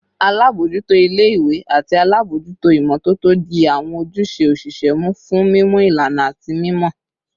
Alabojuto ile-iwe ati alabojuto imototo di awọn ojuse osise mu fun mimu ilana ati mimọ